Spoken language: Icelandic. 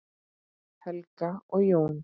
Helga og Jón.